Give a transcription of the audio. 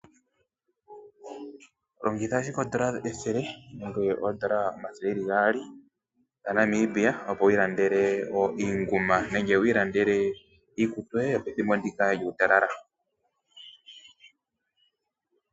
Longitha ashike oodolla ethele nenge oodolla omathele gaali gaNamibia opo wu ilandele iinguma nenge iikutu yoye yo pethimbo ndika lyuutalala.